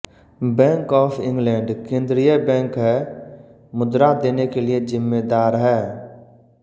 bank of England केंद्रीय bank है मुद्रा देने के लिए जिम्मेदार है